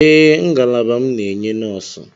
Ee, ngalaba m na-enye nọọsụ.